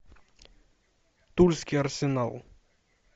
тульский арсенал